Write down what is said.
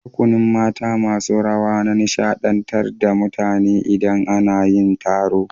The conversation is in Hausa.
Rukunin mata masun rawa na nishadantar da mutane idan ana yin taro.